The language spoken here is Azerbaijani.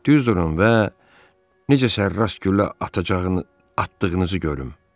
Düz durun və necə sərras güllə atdığınızı görün.